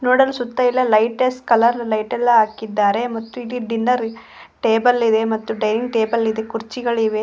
ನೋಡಲು ಸುತ್ತಯೆಲ್ಲ ಲೈಟಸ್ಟ್ ಕಲರ್ ಲೈಟ್ ಎಲ್ಲ ಹಾಕಿದ್ದಾರೆ ಮತ್ತು ಇಡೀ ಡಿನ್ನರ್ ಟೇಬಲ್ ಇದೆ ಮತ್ತು ಡೈನಿಂಗ್ ಟೇಬಲ್ ಇದೆ ಕುರ್ಚಿಗಳು ಇವೆ.